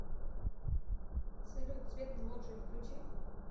салют свет на лоджии включи